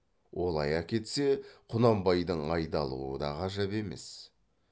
олай әкетсе құнанбайдың айдалуы да ғажап емес